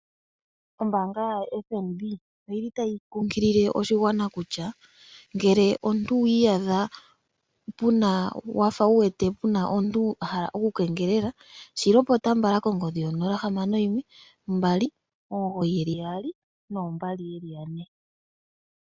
Ombaanga yoFnb otayi kunkilile oshigwana uuna waadha puna omuntu a hala oku keengelela shilopota mbala kongodhi yonomola 0612992222.